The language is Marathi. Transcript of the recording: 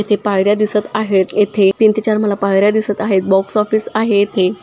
एथे पायर्‍या दिसत आहेत एथे तीन ते चार मला पायर्‍या दिसत आहेत बॉक्स ऑफिस आहेत इथे.